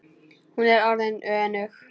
Hún er orðin önug.